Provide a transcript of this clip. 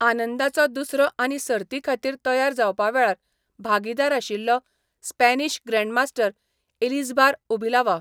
आनंदाचो दुसरो आनी सर्तीखातीर तयार जावपा वेळार भागीदार आशिल्लो स्पॅनिश ग्रॅण्डमास्टर एलिझबार उबिलावा.